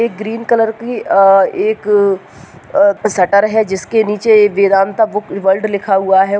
एक green colour की अ एक अ सटर है जिसके निचे वेदांत बुक वर्ल्ड लिखा हुआ हैं।